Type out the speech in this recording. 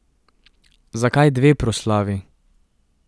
Zakaj dve proslavi?